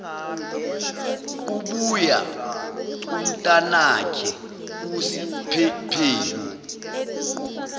kubuya umntanakhe usiphephelo